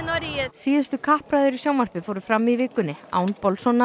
síðustu kappræður frambjóðenda í sjónvarpi fóru fram í vikunni án